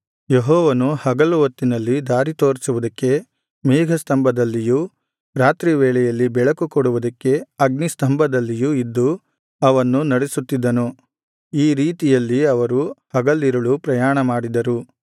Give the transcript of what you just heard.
ಯೆಹೋವನು ಹಗಲು ಹೊತ್ತಿನಲ್ಲಿ ದಾರಿತೋರಿಸುವುದಕ್ಕೆ ಮೇಘಸ್ತಂಭದಲ್ಲಿಯೂ ರಾತ್ರಿವೇಳೆಯಲ್ಲಿ ಬೆಳಕುಕೊಡುವುದಕ್ಕೆ ಅಗ್ನಿಸ್ತಂಭದಲ್ಲಿಯೂ ಇದ್ದು ಅವನ್ನು ನಡೆಸುತಿದ್ದನು ಈ ರೀತಿಯಲ್ಲಿ ಅವರು ಹಗಲಿರುಳು ಪ್ರಯಾಣಮಾಡಿದರು